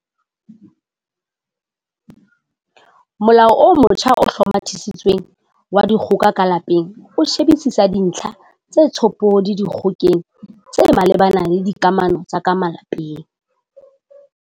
Molao o motjha o Hlomathisitsweng wa Dikgoka ka Lapeng o shebisisa dintlha tse tshophodi dikgokeng tse malebana le dikamano tsa ka lapeng.